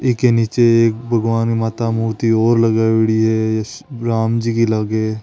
तिल के नीचे भगवान माता मूर्ति और लगायेडी है राम जी की लागे।